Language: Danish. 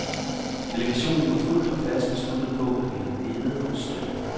Delegationen var fuldt og fast besluttet på at ville bede om støtte.